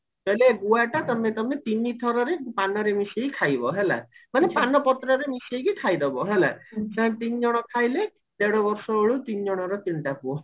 କହିଲେ ଗୁଆଟା ତମେ ତମେ ତିନିଥରରେ ପାନରେ ମିଶେଇକି ଖାଇବା ହେଲା ମାନେ ପାନ ପତ୍ରରେ ମିଶେଇକି ଖାଇଦବ ହେଲା ତିନି ଜଣ ଖାଇଲେ ଦେଢ ବର୍ଷ ବେଳକୁ ତିନିଜଙ୍କର ତିନିଟା ପୁଅ